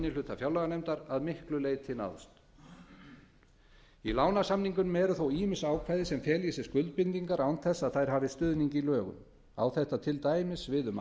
hluta fjárlaganefndar að miklu leyti náðst í lánasamningunum eru þó ýmis ákvæði sem fela í sér skuldbindingar án þess að þær hafi stuðning í lögum á þetta til dæmis við um